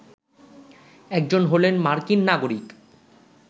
একজন হলেন মার্কিন নাগরিক